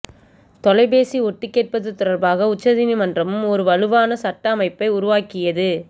தொலைபேசி ஒட்டுக்கேட்பது தொடர்பாக உச்சநீதிமன்றமும் ஒரு வலுவான சட்ட அமைப்பை உருவாக்கியது